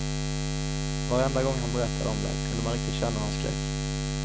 Varenda gång han berättade om det, kunde man riktigt känna hans skräck.